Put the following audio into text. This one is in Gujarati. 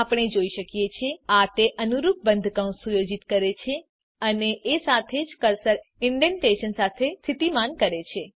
આપણે જોઈ શકીએ છીએ કે આ તે અનુરૂપ બંધ કૌંસને સુયોજિત કરે છે અને એ સાથે જ કર્સરને ઇન્ડેંટેશન સાથે સ્થિતિમાન કરે છે